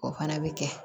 O fana bɛ kɛ